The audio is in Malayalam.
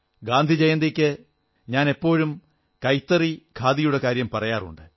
ഗാന്ധിജയന്തിക്ക് ഞാൻ എപ്പോഴും കൈത്തറി ഖാദിയുടെ കാര്യം പറയാറുണ്ട്